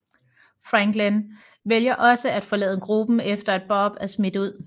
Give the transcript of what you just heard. Franklin vælger også at forlade gruppen efter at Bob er smidt ud